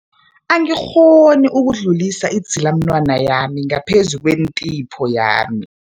Angikghoni ukudlulisa idzilamunwana yami ngaphezu kwentipho yami.